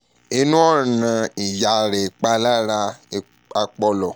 ninu ọran iya rẹ ipalara apọlọ